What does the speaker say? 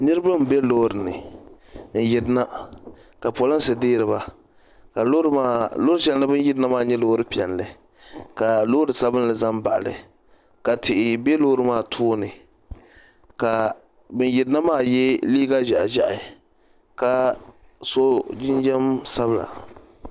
Niriba m-be loori ni n-yirina ka polinsi deeri ba ka loori shɛli ni bɛ ni yirina maa nyɛ loori piɛlli ka loori sabinli za m-baɣi li ka tihi be loori maa tooni ka ban yirina maa ye neen'ʒɛhi ʒɛhi ka so jinjam sabila.